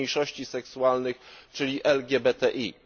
mniejszości seksualnych, czyli LGBTI.